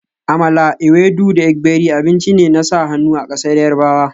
Amala, ewedu da gbegiri abinci ne na sa hannu a ƙasar Yarbawa